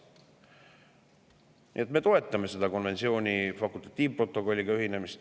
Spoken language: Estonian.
Nii et me toetame konventsiooni fakultatiivprotokolliga ühinemist.